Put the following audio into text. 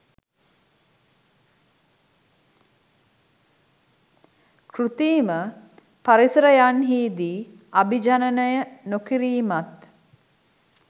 කෘතිම පරිසරන්හිදී අභිජනනය නොකිරීමත්